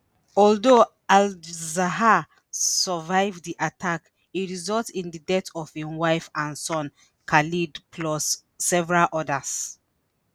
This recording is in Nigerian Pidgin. although al-zahar survive di attack e result in di death of im wife and son khaled plus several odas.